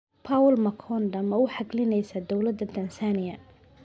Paul Makonda ma u xaglinaysaa dawladda Tansaaniya?